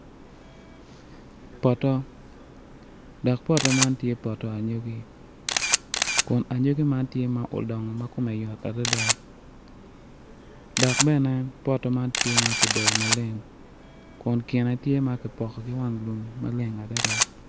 Poto dok poto man tye poto anyogi kun anyogi man tye ma odongo ma kome yot adada dok bene poto man tye ma kidoyo maleng akun kine tye ma kipoko ki wang lum maleng adada.